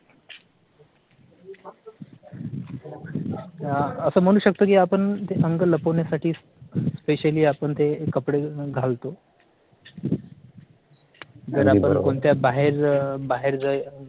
असं म्हणू शकतो की आपण ते अंग लपवण्यासाठी specially आपण ते कपडे घालतो. जर आपण कोणत्या बाहेर अह बाहेर जाय